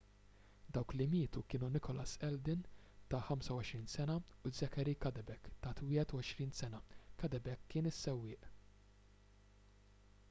dawk li mietu kienu nicholas alden ta' 25 sena u zachary cuddeback ta' 21 sena cuddeback kien is-sewwieq